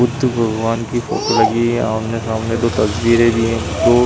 बुद्ध भगवान् की लगी है। आमने सामने दो तस्वीरे भी हैं। दो --